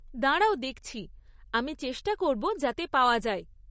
দাঁড়াও দেখছি, আমি চেষ্টা করব যাতে পাওয়া যায়।